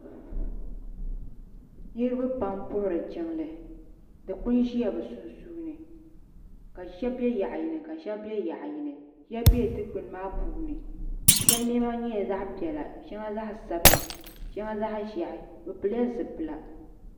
Niriba pam n puhiri jiŋli dikpuni ʒila bi sunsuuni ka shɛba bɛ yaɣa yini ka shɛba bɛ yaɣa yini shɛba bɛla dikpuni maa puuni shɛba niɛma nyɛla zaɣa piɛla shɛŋa zaɣa sabila shɛŋa zaɣa ʒiɛhi bi pili la zipila.